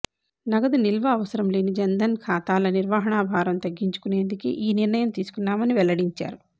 నగదు నిల్వ అవసరం లేని జన్ధన్ ఖాతాల నిర్వహణ భారం తగ్గించుకునేందుకే ఈ నిర్ణయం తీసుకున్నామని వెల్లడించారు